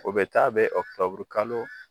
O bɛ taa bɛn ɔkutɔburu kalo